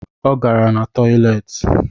O gara na toileti